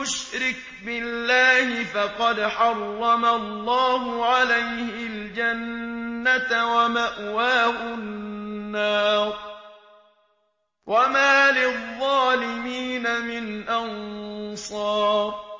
يُشْرِكْ بِاللَّهِ فَقَدْ حَرَّمَ اللَّهُ عَلَيْهِ الْجَنَّةَ وَمَأْوَاهُ النَّارُ ۖ وَمَا لِلظَّالِمِينَ مِنْ أَنصَارٍ